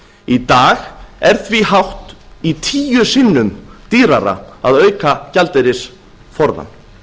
í dag er því hátt í tíu sinnum dýrara að auka gjaldeyrisforðann